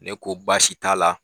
Ne ko baasi t'a la.